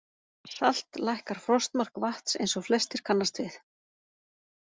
Salt lækkar frostmark vatns eins og flestir kannast við.